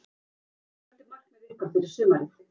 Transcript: Hvert er markmið ykkar fyrir sumarið?